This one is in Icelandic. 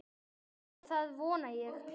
Eða það vona ég